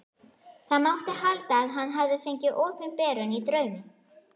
Það mátti halda að hann hefði fengið opinberun í draumi.